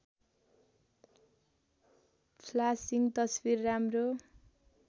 flashing तस्वीर राम्रो